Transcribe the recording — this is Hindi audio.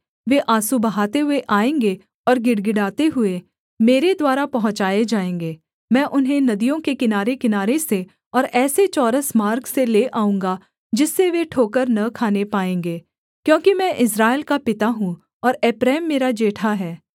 वे आँसू बहाते हुए आएँगे और गिड़गिड़ाते हुए मेरे द्वारा पहुँचाए जाएँगे मैं उन्हें नदियों के किनारेकिनारे से और ऐसे चौरस मार्ग से ले आऊँगा जिससे वे ठोकर न खाने पाएँगे क्योंकि मैं इस्राएल का पिता हूँ और एप्रैम मेरा जेठा है